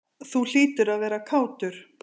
Þú hlýtur að vera kátur?